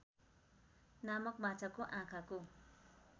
नामक माछाको आँखाको